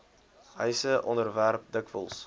huise onderwerp dikwels